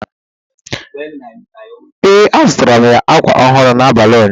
ee, azụtara m ya ákwà ọhụrụ n’abalị ụnyaahụ